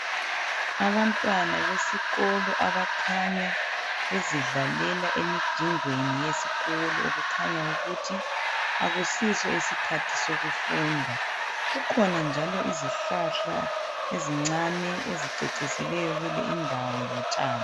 Abantwana besikolo àbakhanya bezidlalela emijingweni yesikolo. Kukhanya ukuthi akusiso isikhathi sokufunda. Kukhona njalo izihlahla ezincane ezicecisileyo kule indawo lotshani.